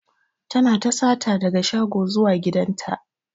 Tana ta sata daga shago zuwa gidan ta.